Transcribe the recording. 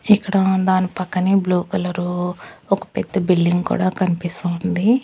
ఇక్కడ దాని పక్కనే బ్లూ కలరు ఒక పెద్ద బిల్డింగ్ కూడా కనిపిస్తూ ఉంది.